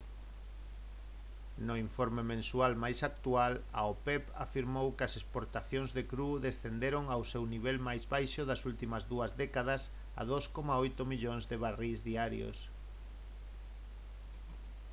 no informe mensual máis actual a opep afirmou que as exportacións de cru descenderon ao seu nivel máis baixo das últimas dúas décadas a 2,8 millóns de barrís diarios